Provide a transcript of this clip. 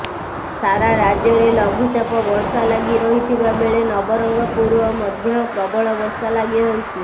ସାରା ରାଜ୍ୟରେ ଲଘୁଚାପ ବର୍ଷା ଲାଗି ରହିଥିବା ବେଳେ ନବରଙ୍ଗପୁର ମଧ୍ୟ ପ୍ରବଳ ବର୍ଷା ଲାଗିରହିଛି